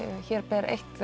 hér ber eitt